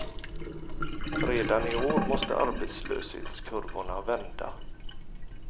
Redan i år måste arbetslöshetskurvorna vända.